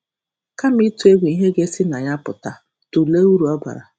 Kama ịtụ egwu ihe ga-esi na ya pụta, tụlee uru ọ bara.